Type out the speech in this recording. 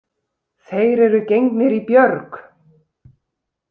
Þeir eru gengnir í björg.